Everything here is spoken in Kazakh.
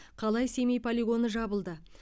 қалай семей полигоны жабылды